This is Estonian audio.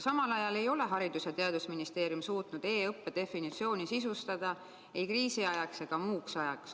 Samal ajal ei ole Haridus- ja Teadusministeerium suutnud e-õppe definitsiooni sisustada ei kriisi ajaks ega muuks ajaks.